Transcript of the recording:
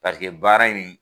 paseke baara in